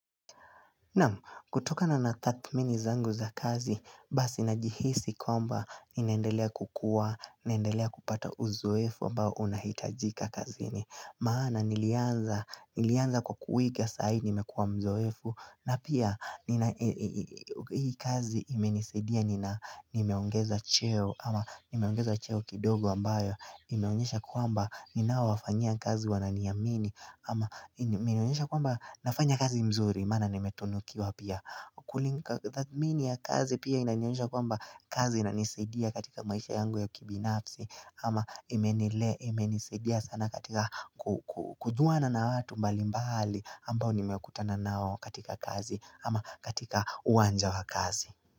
Naam, kutokana na tathmini zangu za kazi, basi najihisi kwamba ninandelea kukua, ninendelea kupata uzoefu mbao unahitajika kazini. Maana nilianza kwa kuiga saa hii nimekuwa mzoefu na pia hii kazi imenisaidia nimeongeza cheo ama nimeongeza cheo kidogo ambayo Imeonyesha kuamba ninaowafanyia kazi wananiyamini ama nimeonyesha kuamba nafanya kazi mzuri Mana nimetunukiwa pia Kulika kazi pia inanionyesha kuamba kazi inanisedia katika maisha yangu ya kibinapsi ama imenile imenisedia sana katika kujuwana na watu mbali mbali ambao nimekutana nao katika kazi ama katika uwanja wa kazi.